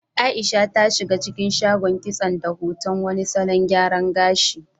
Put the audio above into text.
Aisha ta shiga cikin shagon kitson da hoton wani salon gyaran gashi.